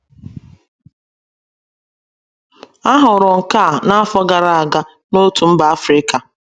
A hụrụ nke a n’afọ gara aga n’otu mba Afrika